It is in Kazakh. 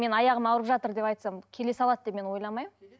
мен аяғым ауырып жатыр деп айтсам келе салады деп мен ойламаймын